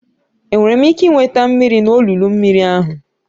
Enwere m ike ị nweta mmiri n'olulu mmiri ahụ?